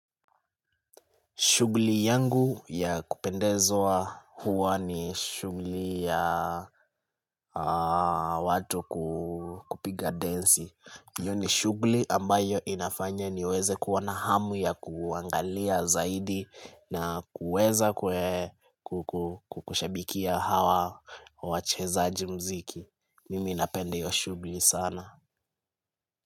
Shughli yangu ya kupendezwa huwa ni shughli ya watu kupiga densi. Hiyo ni shughli ambayo inafanya niweze kuwa na hamu ya kuangalia zaidi na kuweza kukushabikia hawa wachezaji mziki. Mimi napenda hiyo shughli sana.